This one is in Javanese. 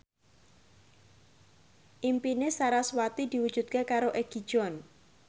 impine sarasvati diwujudke karo Egi John